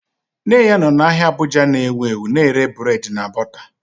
Nne ya nọ n'ahia Abuja na ewu ewu na-ere burédi na bọta